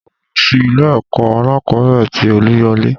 Mo lọ sí ilé ẹ̀kọ́ alákòbẹ̀rẹ̀ tì Oluyole.